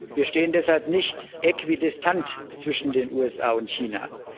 Wir stehen deshalb nicht äquidistant zwischen den USA und China.